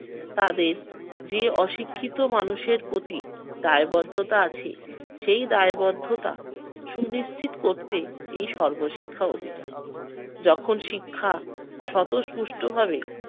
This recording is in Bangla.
তাদের যে অশিক্ষিত মানুষের প্রতি দায়বদ্ধতা আছে সেই দায়বদ্ধতা সুনিশ্চিত করতে এই সর্বশিক্ষা অভিযান। যখন শিক্ষা স্বতঃস্পুষ্ট ভাবে